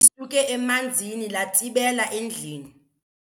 Lisuke emanzini latsibela endlini.